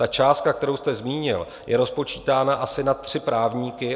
Ta částka, kterou jste zmínil, je rozpočítána asi na tři právníky.